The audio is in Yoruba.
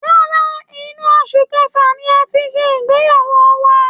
Rárá, inú oṣù kẹfà ni a ti ṣe ìgbeyàwó wa